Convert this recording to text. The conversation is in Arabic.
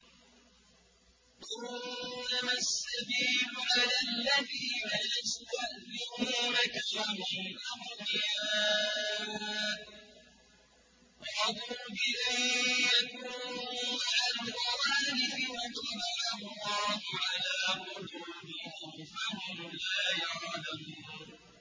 ۞ إِنَّمَا السَّبِيلُ عَلَى الَّذِينَ يَسْتَأْذِنُونَكَ وَهُمْ أَغْنِيَاءُ ۚ رَضُوا بِأَن يَكُونُوا مَعَ الْخَوَالِفِ وَطَبَعَ اللَّهُ عَلَىٰ قُلُوبِهِمْ فَهُمْ لَا يَعْلَمُونَ